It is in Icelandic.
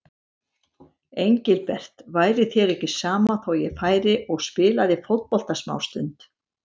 Engilbert, væri þér ekki sama þó ég færi og spilaði fótbolta smástund.